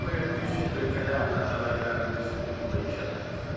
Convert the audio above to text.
Ekoya üzv ölkələrlə əlaqələrimiz uğurla inkişaf edir.